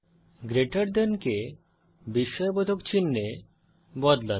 greater than কে বিস্ময়বোধক চিনহে বদলান